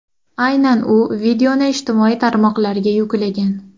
Aynan u videoni ijtimoiy tarmoqlarga yuklagan.